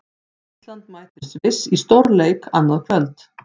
Ísland mætir Sviss í stórleik annað kvöld.